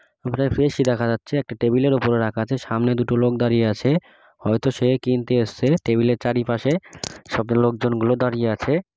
প্রায় ফ্রেশ -ই দেখা যাচ্ছে একটি টেবিল -এর ওপরে রাখা আছে সামনে দুটো লোক দাঁড়িয়ে আছে। হয়ত সে কিনতে এসছে টেবিল -এর চারিপাশে সব লোকজনগুলো দাঁড়িয়ে আছে।